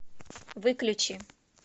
выключи